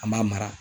An b'a mara